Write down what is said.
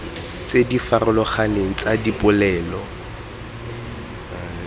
tse di farologaneng tsa dipolelo